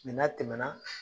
Mɛ n'a tɛmɛna